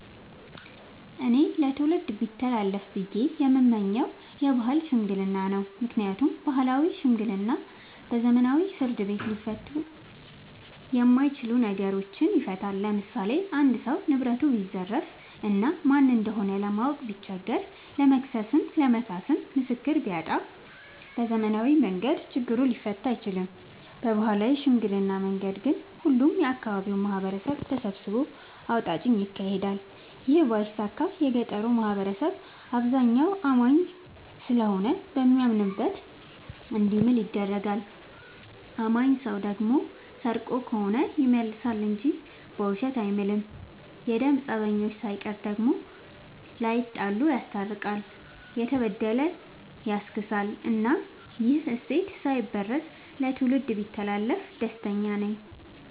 እኔ ለትውልድ ቢተላለፍ ብዬ የምመኘው የባህል ሽምግልና ነው። ምክንያቱም ባህላዊ ሽምግልና በዘመናዊ ፍርድ ቤት ሊፈቱ የማይችሉ ነገሮችን ይፈታል። ለምሳሌ አንድ ሰው ንብረቱን ቢዘረፍ እና ማን እንደሆነ ለማወቅ ቢቸገር ለመክሰስም ለመካስም ምስክር ቢያጣ በዘመናዊ መንገድ ችግሩ ሊፈታ አይችልም። በባህላዊ ሽምግልና መንገድ ግን ሁሉም የአካባቢው ማህበረሰብ ተሰብስቦ አውጣጭ ይካሄዳል ይህ ባይሳካ የገጠሩ ማህበረሰብ አብዛኛው አማኝ ስለሆነ በሚያምንበት እንዲምል ይደረጋል። አማኝ ሰው ደግሞ ሰርቆ ከሆነ ይመልሳ እንጂ በውሸት አይምልም። የደም ፀበኞችን ሳይቀር ዳግም ላይጣሉ ይስታርቃል፤ የተበደለ ያስክሳል እናም ይህ እሴት ሳይበረዝ ለትውልድ ቢተላለፍ ደስተኛ ነኝ።